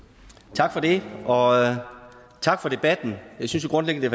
tak for det og tak for debatten jeg synes grundlæggende